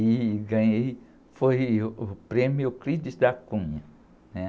E ganhei, foi, uh, o prêmio Euclides da Cunha.